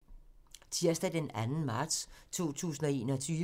Tirsdag d. 2. marts 2021